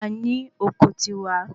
A ní oko tiwa.